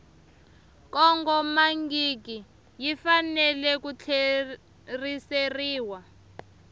kongomangiki yi fanele ku tlheriseriwa